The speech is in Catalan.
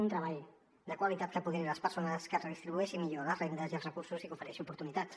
un treball de qualitat que apoderi les persones que redistribueixi millor les rendes i els recursos i que ofereixi oportunitats